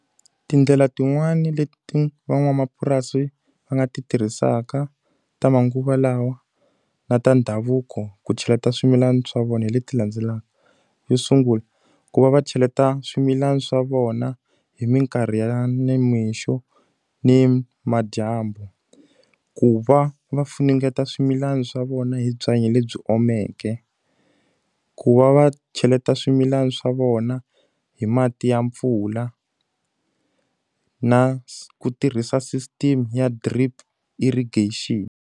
Tindlela tin'wani leti van'wamapurasi va nga ti tirhisaka ta manguva lawa na ta ndhavuko ku cheleta swimilana swa vona hi leti landzelaka. Xo sungula, ku va va cheleta swimilana swa vona hi minkarhi ya nimixo ni madyambu, ku va va funengeta swimilani swa vona hi byanyi lebyi omeke, ku va va cheleta swimilana swa vona hi mati ya mpfula, na ku tirhisa system ya drip irrigation.